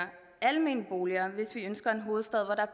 almene boliger hvis vi ønsker en hovedstad hvor der